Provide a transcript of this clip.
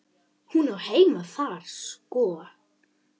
Hún á heima þar sko.